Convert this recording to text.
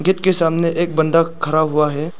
Gate के सामने एक बंदा खड़ा हुआ है।